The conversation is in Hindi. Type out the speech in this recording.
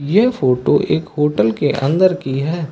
ये फोटो एक होटल के अन्दर की है।